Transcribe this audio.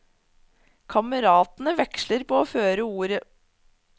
Kameratene veksler på å føre ordet.